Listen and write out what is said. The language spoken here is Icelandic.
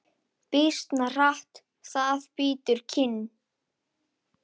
Býsna hart það bítur kinn.